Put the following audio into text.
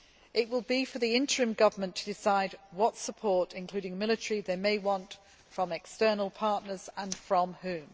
It will be for the interim government to decide what support including military they may want from external partners, and from whom.